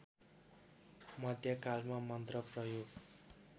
मध्य कालमा मन्त्र प्रयोग